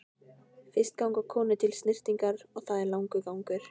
Fyrst ganga konur til snyrtingar og það er langur gangur.